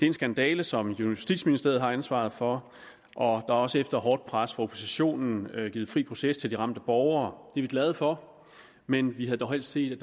en skandale som justitsministeriet har ansvaret for og er også efter hårdt pres fra oppositionen givet fri proces til de ramte borgere det er vi glade for men vi havde dog helst set at